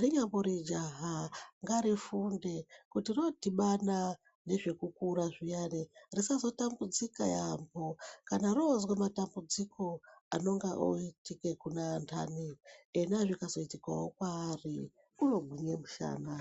rinyambori jaha ngarifunde kuti rodhibana nezve kukura zviyani risazotambudzika yaamho kana rozwe matambudziko anonga oitike kune anhani, ena zvikazoitikewo kwaari unogwinye mushana.